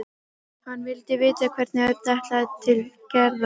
Hann vildi vita hvenær Örn ætlaði til Gerðar.